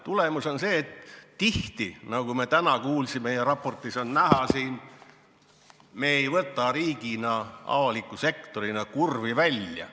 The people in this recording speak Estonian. Tulemus on see, et tihti, nagu me täna kuulsime ja raportis on näha, ei võta me riigina, avaliku sektorina kurvi välja.